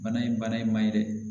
Bana in bana ye man ye dɛ